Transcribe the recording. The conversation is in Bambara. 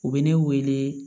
U bɛ ne wele